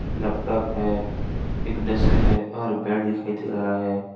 Laptop है एक desk है और बेड दिखाई दे रहा है।